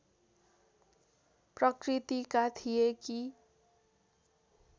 प्रकृतिका थिए कि